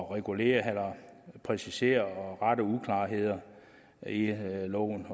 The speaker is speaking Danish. at regulere eller præcisere og rette uklarheder i loven